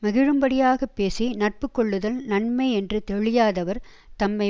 மகிழும்படியாகப் பேசி நட்பு கொள்ளுதல் நன்மை என்று தெளியாதவர் தம்மை